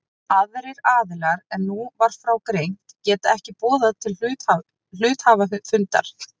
Aðrir aðilar en nú var frá greint geta ekki boðað til hluthafafundar.